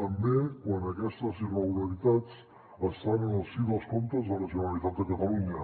també quan aquestes irregularitats estan en el si dels comptes de la generalitat de catalunya